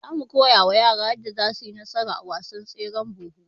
zamu koyawa yaran yadda zasuyi nasara a wasan tseren buhu